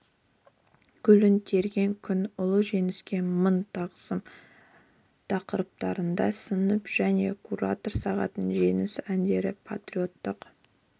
гүлін терген күн ұлы жеңіске мың тағзым тақырыптарында сынып және куратор сағаттары жеңіс әндері патриоттық